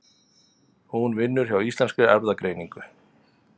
Hún vinnur hjá Íslenskri erfðagreiningu.